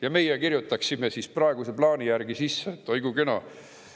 Ja meie kirjutaksime praeguse plaani järgi sisse – oi kui kena!